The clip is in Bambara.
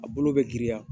A bolo bɛ girinya